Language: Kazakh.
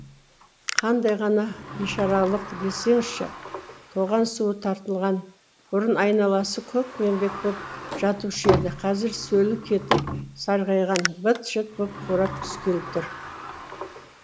қандай ғана бишаралық десеңізші тоған суы тартылған бұрын айналасы көкпеңбек боп жатушы еді қазір сөлі кетіп сарғайған быт шыт боп қурап түскелі тұр